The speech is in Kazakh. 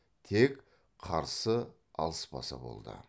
тек қарсы алыспаса болды